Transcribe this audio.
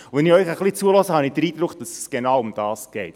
Wenn ich Ihnen zuhöre, habe ich den Eindruck, dass es genau darum geht.